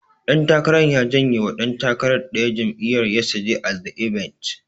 Ɗan takarar ya jenye wa ɗan takarar ɗaya jam'iyyar, yesterday at the event.